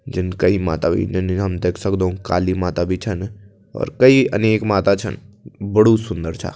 जन कई माता हम देख सकदों काली माता भी छन अर कई अनेक माता छन बड़ू सुन्दर छा।